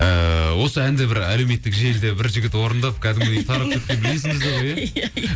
ыыы осы әнді бір әлеуметтік желіде бір жігіт орындап кәдімгідей есіңізде ғой ия